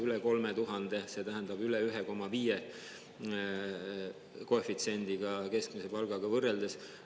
Üle 3000, see tähendab üle 1,5 koefitsiendiga keskmise palgaga võrreldes.